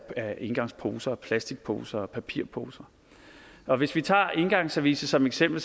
af engangsposer plastikposer og papirposer og hvis vi tager engangsservicet som eksempel